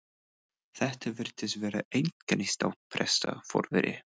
Þetta virtist vera einkennistákn presta, forveri